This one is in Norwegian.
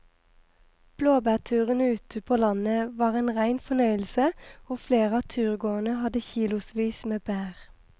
Blåbærturen ute på landet var en rein fornøyelse og flere av turgåerene hadde kilosvis med bær.